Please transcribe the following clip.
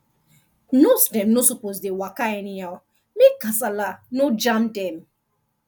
nurse dem no suppose dey waka anyhow make kasala no jam dem